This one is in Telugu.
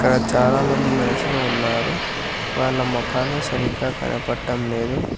చాలామంది మనసులో ఉన్నారు వాళ్ళ ముఖాలు సరిగ్గా కనబడటం లేదు.